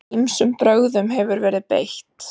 Ýmsum brögðum hefur verið beitt.